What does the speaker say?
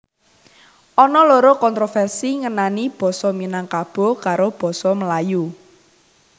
Ana loro kontroversi ngenani Basa Minangkabo karo basa Melayu